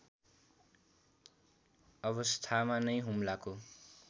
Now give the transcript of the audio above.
अवस्थामा नै हुम्लाको